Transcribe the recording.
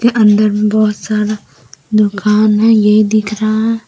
ये अंदर बहोत सारा दुकान है यहीं दिख रहा है ।